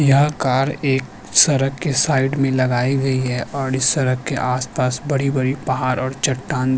यह कार एक सरक के साईड में लगाई गई है और इस सरक के आसपास बड़ी बड़ी पहाड़ और चट्टान --